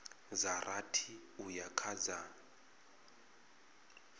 dza rathi uya kha dza